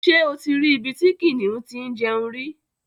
Ṣé o ti rí ibi tí kìnnìún ti ń jẹun rí?